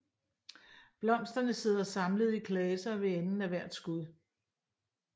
Blomsterne sidder samlet i klaser ved enden af hvert skud